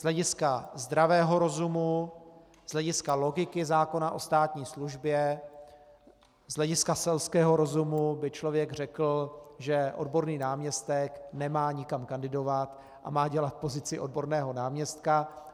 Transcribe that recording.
Z hlediska zdravého rozumu, z hlediska logiky zákona o státní službě, z hlediska selského rozumu by člověk řekl, že odborný náměstek nemá nikam kandidovat a má dělat pozici odborného náměstka.